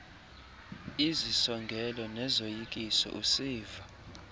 izisongelo nezoyikiso usiva